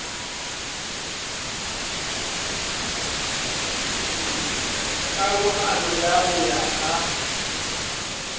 karohano ya ho ya ka